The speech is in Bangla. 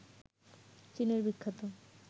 চীনের বিখ্যাত